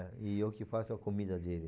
É, e eu que faço a comida dele.